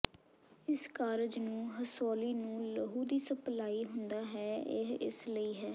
ਇਸ ਕਾਰਜ ਨੂੰ ਰਸੌਲੀ ਨੂੰ ਲਹੂ ਦੀ ਸਪਲਾਈ ਹੁੰਦਾ ਹੈ ਇਹ ਇਸ ਲਈ ਹੈ